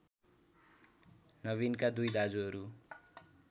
नबिनका २ दाजुहरू